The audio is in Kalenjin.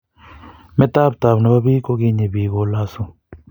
metaptaab nnebo biik kokinyii bik kolosuu